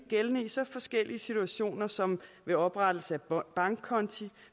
gældende i så forskellige situationer som ved oprettelse af bankkonti